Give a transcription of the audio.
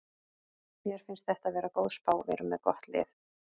Mér finnst þetta vera góð spá, við erum með gott lið.